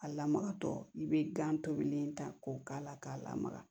A lamagatɔ i bɛ gan tobilen ta k'o k'a la k'a lamaga